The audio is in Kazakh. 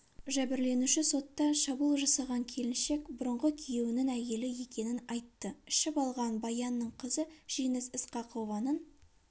жәбірленуші сотта шабуыл жасаған келіншек бұрынғы күйеуінің әйелі екенін айтты ішіп алған баянның қызы жеңіс ысқақованың